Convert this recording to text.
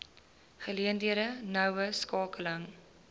geleenthede noue skakeling